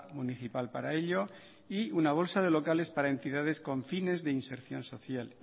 municipal para ello y una bolsa de locales para entidades con fines de inserción social